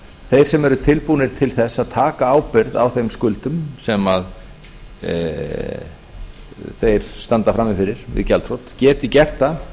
þeir sem eru tilbúnir til þess að taka ábyrgð á þeim skuldum sem þeir standa frammi fyrir við gjaldþrot geti gert það